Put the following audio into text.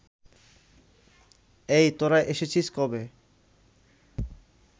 এই, তোরা এসেছিস কবে